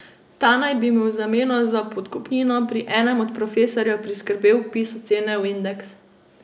Ta naj bi mu v zameno za podkupnino pri enem od profesorjev priskrbel vpis ocene v indeks.